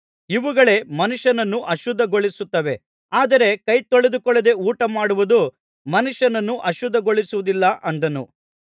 ಇಂಥವುಗಳೇ ಮನುಷ್ಯನನ್ನು ಅಶುದ್ಧಿಗೊಳಿಸುತ್ತವೆ ಆದರೆ ಕೈ ತೊಳೆದುಕೊಳ್ಳದೆ ಊಟಮಾಡುವುದು ಮನುಷ್ಯನನ್ನು ಅಶುದ್ಧಿಗೊಳಿಸುವುದಿಲ್ಲ ಅಂದನು